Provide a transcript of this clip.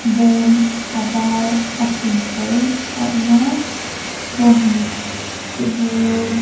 bawm a var a chhin pawl a awm a bawnghnute bur--